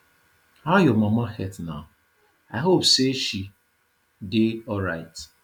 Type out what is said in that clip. how your mama health now i hope say she dey alright